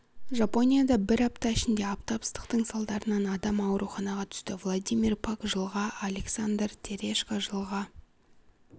жапонияда бір апта ішінде аптап ыстықтың салдарынан адам ауруханаға түсті владимир пак жылға александр терешко жылға